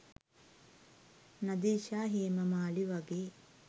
නදීෂා හේමමාලි වගේ